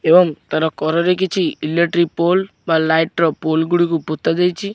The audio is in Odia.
ଏବଂ ତାର କରରେ କିଛି ଇଲେକ୍ଟ୍ରି ପୋଲ ବା ଲାଇଟ୍ ର ପୋଲ ଗୁଡ଼ିକୁ ପୋତା ଯାଇଚି।